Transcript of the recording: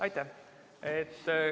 Aitäh!